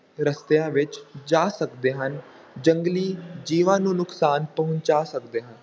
ਰਸਤਿਆਂ ਵਿੱਚ ਜਾ ਸਕਦੇ ਹਨ, ਜੰਗਲੀ ਜੀਵਾਂ ਨੂੰ ਨੁਕਸਾਨ ਪਹੁੰਚਾ ਸਕਦੇ ਹਨ।